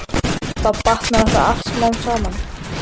Þá batnar þetta allt smám saman.